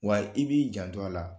Wa i b'i janto la